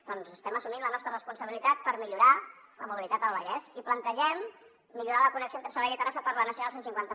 doncs estem assumint la nostra responsabilitat per millorar la mobilitat al vallès i plantegem millorar la connexió entre sabadell i terrassa per la nacional cent i cinquanta